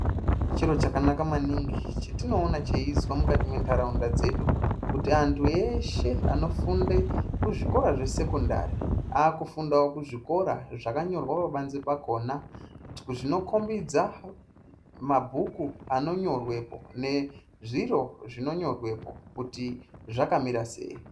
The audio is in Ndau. Chiro chakanaka maningi chetinoona chinoitwa mukati mwendaraunda dzedu kuti antu eshe anofunda kuzvikora zvesekondari aakufundawo kuzvikora zvakanyorwa pabanze pakona zvinokombidza mabhuku anonyorwepo nezviro zvinonyorwepo kuti zvakamira sei.